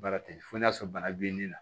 Baara tɛ fo n'a y'a sɔrɔ bana b'i la